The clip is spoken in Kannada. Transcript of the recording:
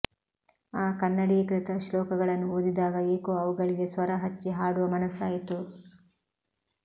ಆ ಕನ್ನಡೀಕೃತ ಶ್ಲೋಕಗಳನ್ನು ಓದಿದಾಗ ಏಕೋ ಅವುಗಳಿಗೆ ಸ್ವರ ಹಚ್ಚಿ ಹಾಡುವ ಮನಸ್ಸಾಯಿತು